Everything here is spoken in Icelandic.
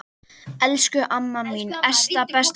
Elsku amma mín Esta besta.